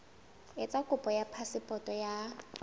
etsa kopo ya phasepoto ya